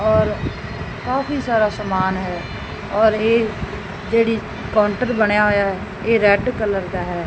ਔਰ ਕਾਫੀ ਸਾਰਾ ਸਮਾਨ ਹੈ ਔਰ ਇਹ ਜਿਹੜੀ ਕਾਊਂਟਰ ਬਣਿਆ ਹੋਇਆ ਐ ਇਹ ਰੈਡ ਕਲਰ ਦਾ ਹੈ।